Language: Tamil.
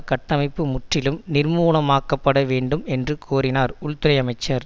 கட்டமைப்பு முற்றிலும் நிர்மூலமாக்கப்பட வேண்டும் என்று கோரினார் உள்துறைஅமைச்சர்